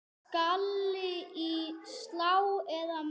Skalli í slá eða mark?